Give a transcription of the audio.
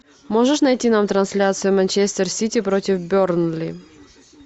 можешь найти нам трансляцию манчестер сити против бернли